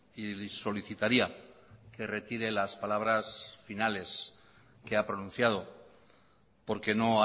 y solicitaría que retire las palabras finales que ha pronunciado porque no